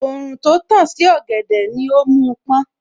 Òòrùn tó tàn sí ọ̀gẹ̀dẹ̀ ni ó mú pọ́n